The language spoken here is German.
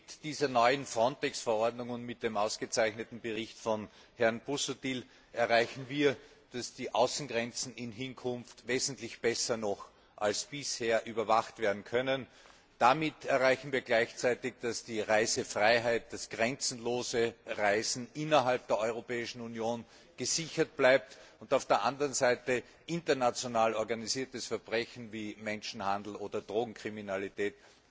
Mit dieser neuen FRONTEX Verordnung und mit dem ausgezeichneten Bericht von Herrn Busuttil erreichen wir, dass die Außengrenzen in Hinkunft noch wesentlich besser als bisher überwacht werden können. Damit erreichen wir gleichzeitig, dass die Reisefreiheit das grenzenlose Reisen innerhalb der Europäischen Union gesichert bleibt und auf der anderen Seite zusätzlich auch noch international organisiertes Verbrechen wie Menschenhandel oder Drogenkriminalität